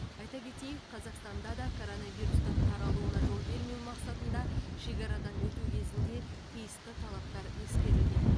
айта кетейік қазақстанда да корорнавирустың таралуына жол бермеу мақсатында шекарадан өту кезінде тиісті талаптар ескерілген